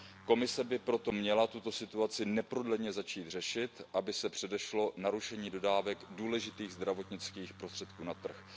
Komise by proto měla tuto situaci neprodleně začít řešit, aby se předešlo narušení dodávek důležitých zdravotnických prostředků na trh.